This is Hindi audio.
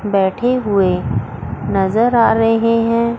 बैठे हुए नजर आ रहे हैं।